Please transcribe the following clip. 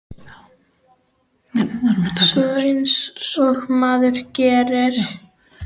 Svona eins og maður gerir.